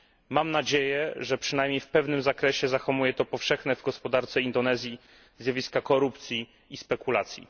Mam nadzieję, że przynajmniej w pewnym zakresie zahamuje to powszechne w gospodarce Indonezji zjawiska korupcji i spekulacji.